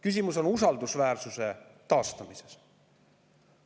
Küsimus on usaldusväärsuse taastamises.